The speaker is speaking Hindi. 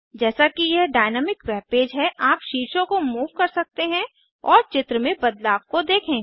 जैसा कि यह डायनामिक वेब पेज है आप शीर्षों को मूव कर सकते हैं और चित्र में बदलाव को देखें